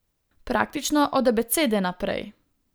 Praktično od abecede naprej.